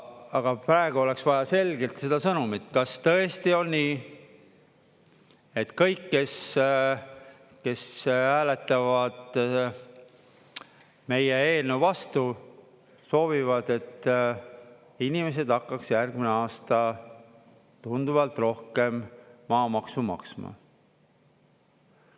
Aga praegu oleks vaja selgelt seda sõnumit: kas tõesti on nii, et kõik, kes hääletavad meie eelnõu vastu, soovivad, et inimesed hakkaks järgmine aasta tunduvalt rohkem maamaksu maksma?